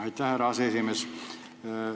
Aitäh, härra aseesimees!